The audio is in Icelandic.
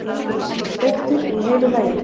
Grís, steiktur í heilu lagi!